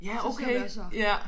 Det ser jeg også